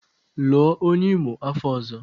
Lụọ onye Imo afọ ọzọ!